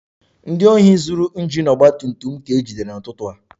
Ndị ohi zuru injin ọgba tum tum m ka ejidere n'ụtụtụ a